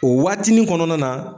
O waatinin kɔnɔna na